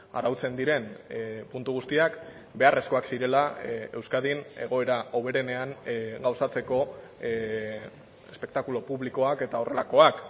arautzen diren puntu guztiak beharrezkoak zirela euskadin egoera hoberenean gauzatzeko espektakulo publikoak eta horrelakoak